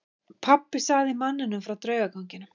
Pabbi sagði manninum frá draugaganginum.